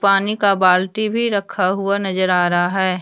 पानी का बाल्टी भी रखा हुआ नजर आ रहा है।